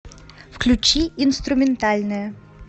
включи инструментальная